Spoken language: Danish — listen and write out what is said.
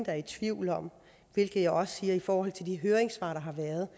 er i tvivl om hvilket jeg også siger i forhold til de høringssvar der har været